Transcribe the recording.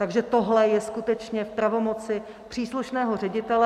Takže tohle je skutečně v pravomoci příslušného ředitele.